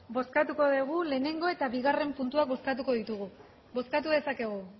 bozkatuko dugu lehenengo eta bigarren puntuak bozkatu dezakegu